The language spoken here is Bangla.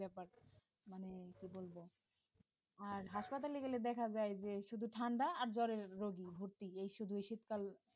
আর হাসপাতালে গেলে দেখা যায় যে শুধু ঠাণ্ডা আর জ্বর এর রোগী ভর্তি এই শুধু এই শীতকাল